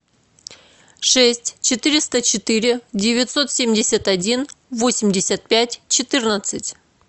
шесть четыреста четыре девятьсот семьдесят один восемьдесят пять четырнадцать